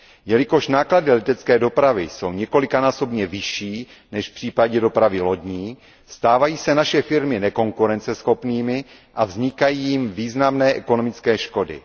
Jelikož náklady letecké dopravy jsou několikanásobně vyšší než v případě dopravy lodní, stávají se naše firmy nekonkurenceschopnými a vznikají jim významné ekonomické škody.